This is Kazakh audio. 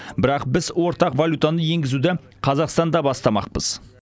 бірақ біз ортақ валютаны енгізуді қазақстанда бастамақпыз